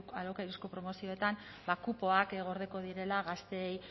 alokairuzko promozioetan kupoak gordeko direla gazteei